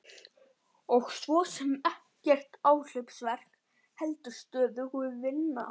Og svo sem ekkert áhlaupsverk heldur stöðug vinna.